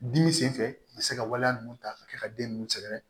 Dimi sen fɛ a bɛ se ka waleya ninnu ta ka kɛ ka den nunnu sɛgɛrɛ